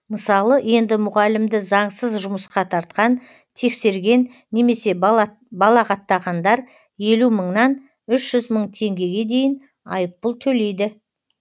мысалы енді мұғалімді заңсыз жұмысқа тартқан тексерген немесе балағаттағандар елу мыңнан үш жүз мың теңгеге дейін айыппұл төлейді